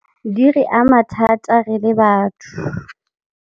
Di re ama thata re le batho.